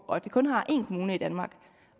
og at vi kun har én kommune i danmark